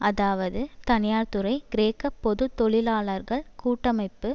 அதாவது தனியார்துறை கிரேக்க பொது தொழிலாளர்கள் கூட்டமைப்பு